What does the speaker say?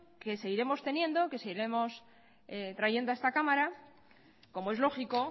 que seguiremos teniendo que seguiremos trayendo a esta cámara como es lógico